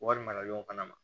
Wari mara yɔrɔ fana na